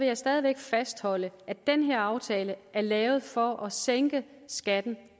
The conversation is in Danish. jeg stadig væk fastholde at den her aftale er lavet for at sænke skatten